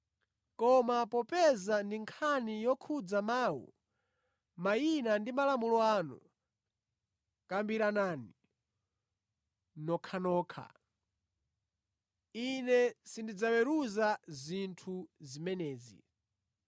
Koma popeza ndi nkhani yokhudza mawu, mayina ndi malamulo anu, kambiranani nokhanokha. Ine sindidzaweruza zinthu zimenezi.”